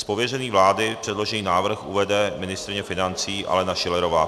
Z pověření vlády předložený návrh uvede ministryně financí Alena Schillerová.